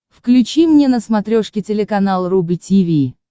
включи мне на смотрешке телеканал рубль ти ви